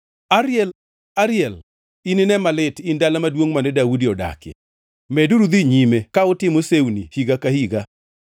Ariel, Ariel, inine malit, in dala maduongʼ mane Daudi odakie! Meduru dhi nyime ka utimo sewni higa ka higa.